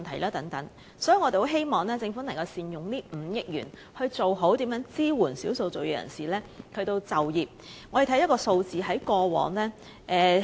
因此，我們很希望政府能善用這5億元，改善對少數族裔人士的就業支援。